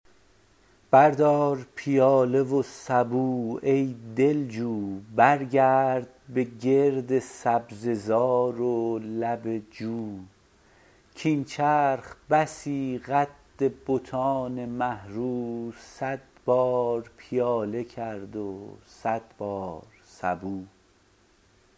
بردار پیاله و سبو ای دلجو برگرد به گرد سبزه زار و لب جو کاین چرخ بسی قد بتان مه رو صد بار پیاله کرد و صد بار سبو